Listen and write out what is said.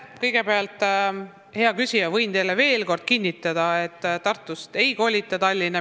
Kõigepealt, hea küsija, võin teile veel kord kinnitada, et ministeeriumi ei kolita Tartust Tallinna.